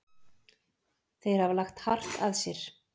Þeir hafa lagt hart að sér.